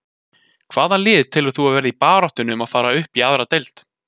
Hvaða lið telur þú að verði í baráttunni um að fara upp í aðra deild?